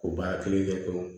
O baara kelen kɛ pewu